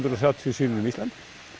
og þrjátíu síður um Ísland